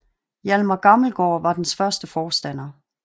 Hjalmar Gammelgaard var dens første forstander